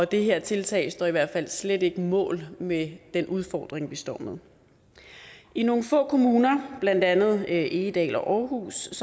det her tiltag står i hvert fald slet ikke mål med den udfordring vi står med i nogle få kommuner blandt andet egedal og aarhus